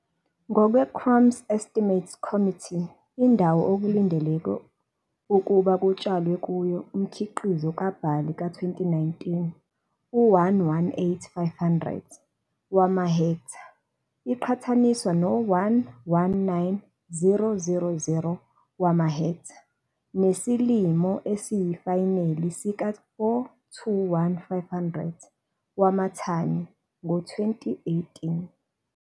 Ngokwe-Crop Estimates Committee, indawo okulindeleke okulindeleke ukuba kutshalwe kuyo umkhiqizo kabhali ka-2019 u-118 500 wamahektha, iqhathaniswa no-119 000 wamahektha, nesilimo esiyifayineli sika-421 500 wamathani ngo-2018.